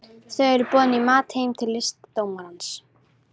Þau eru boðin í mat heim til listdómarans